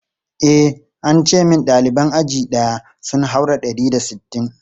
E, an ce min ɗaliban aji ɗaya sun haura ɗari da sittin.